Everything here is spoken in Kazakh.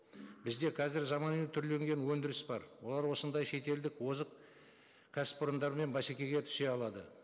бізде қазір заманауи түрленген өндіріс бар олар осындай шетелдік озық кәсіпорындармен бәсекеге түсе алады